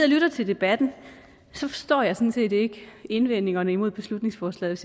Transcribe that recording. lytter til debatten forstår jeg sådan set ikke indvendingerne imod beslutningsforslaget